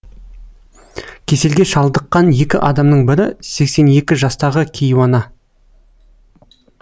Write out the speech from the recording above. кеселге шалдыққан екі адамның бірі сексен екі жастағы кейуана